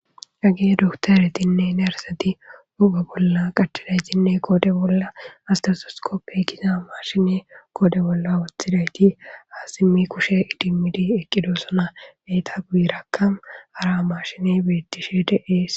Hage dokoteretine neriseti huphe bolla qachidayisine qodhe bolla setetosikope giza mashine qodhe bolla wothidi ha simidi kushe idimidi eqidosona. Enitappe guye bagaraka hara mashineyi betishe de'esi.